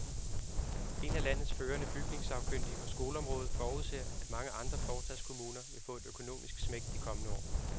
En af landets førende bygningssagkyndige på skoleområdet forudser, at mange andre forstadskommuner vil få et økonomisk smæk de kommende år.